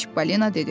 Çippolino dedi.